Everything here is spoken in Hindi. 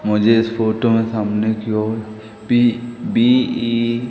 मुझे इस फोटो में सामने क्यों पी_बी_ई --